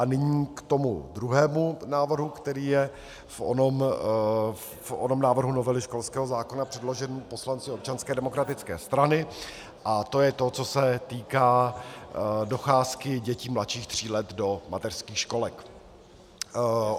A nyní k tomu druhému návrhu, který je v onom návrhu novely školského zákona předložen poslanci Občanské demokratické strany, a to je to, co se týká docházky dětí mladších tří let do mateřských školek.